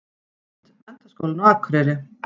Mynd: Menntaskólinn á Akureyri.